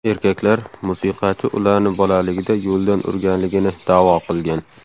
Erkaklar, musiqachi ularni bolaligida yo‘ldan urganligini da’vo qilgan.